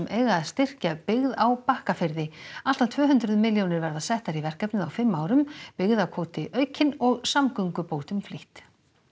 eiga að styrkja byggð á Bakkafirði allt að tvö hundruð milljónir verða settar í verkefnið á fimm árum byggðakvóti aukinn og samgöngubótum flýtt